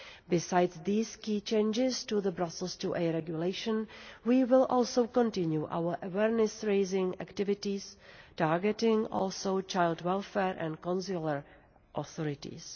Besides these key changes to the Brussels IIa Regulation, we will also continue our awareness raising activities, targeting also child welfare and consular authorities.